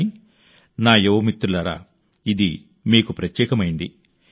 కానీ నా యువ మిత్రులారా ఇది మీకు ప్రత్యేకమైంది